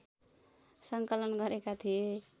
सङ्कलन गरेका थिए